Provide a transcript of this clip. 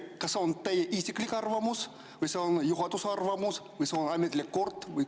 Kas see on teie isiklik arvamus või see on juhatuse arvamus või see on ametlik kord?